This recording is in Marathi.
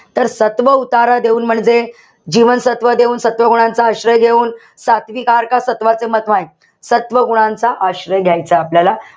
तर सत्व उतारा देऊन म्हणजे जीवनसत्व देऊन, सत्व गुणांचा आश्रय घेऊन, सात्विक आहार का सत्वाचे सत्व गुणांचा आश्रय घ्यायचा आपल्याला.